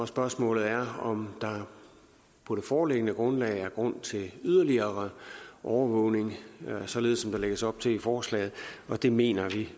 spørgsmålet er om der på det foreliggende grundlag er grund til yderligere overvågning således som der lægges op til i forslaget det mener vi